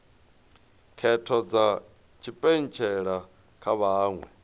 khetho dza tshipentshela kha vhaṅwe